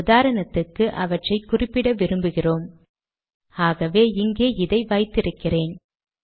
உதாரணத்துக்கு அவற்றை குறிப்பிட விரும்புகிறோம் ஆகவே இங்கே இதை வைத்து இருக்கிறேன்